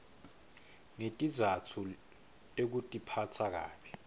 ngetizatfu tekutiphatsa kabi